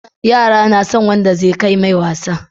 Yara nason wanda zai ke mai wasa